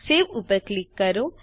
save ઉપર click કરો